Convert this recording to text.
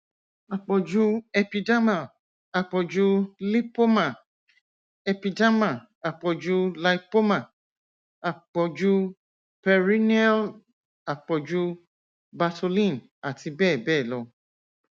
àpọjù epidermal àpọjù lipoma epidermal àpọjù lipoma àpọjù perineal àpọjù bartholin àti bẹẹ bẹẹ lọ